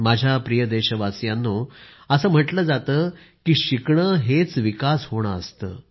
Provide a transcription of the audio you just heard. माझ्या प्रिय देशवासियांनो असं म्हटलं जातं की शिकणं हेच विकास होणं असतं